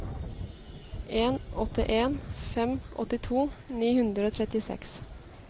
en åtte en fem åttito ni hundre og trettiseks